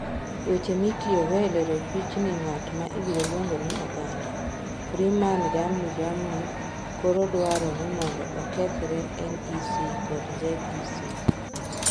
Weche mitiyogo e lero pichni Ng'at ma Ibiro Luongo ni "Oganda" Freeman jamni jamni koro dwaro ni mondo okethre NEC kod ZEC.